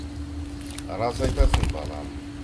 рас айтасың балам